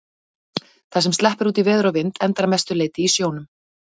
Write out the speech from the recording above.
Það sem sleppur út í veður og vind endar að mestu leyti í sjónum.